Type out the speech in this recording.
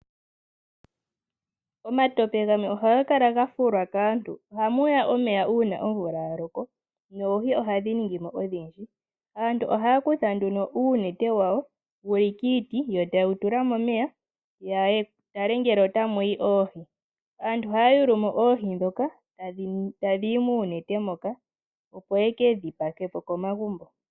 Omatope gamwe ohaga kala ga fulwa kaantu. Ohamuya omeya uun omvula ya loko noohi ohadhi ningimo odhindji. Aantu ohaya kutha nduno uunete wawo wuli kiiti yo tayewu tula momeya yatale ngele otamuya oohi . Aantu ohaya yulumo oohi ndhoka tadhiyi moonete moka opo yekedhi pakepo komagumbo.